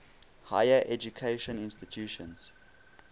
higher education institutions